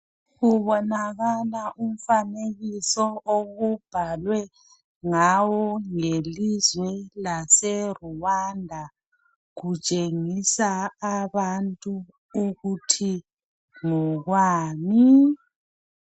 Kubonakala umfanekiso okubhalwe ngawo ngelizwe laseRwanda kutshengisa abantu ukuthi ngokwani